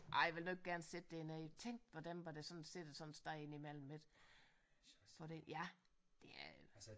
Ej ville du ikke gerne sidde dernede tænk på dem hvor der sådan sidder sådan et sted ind imellem ik for det ja det er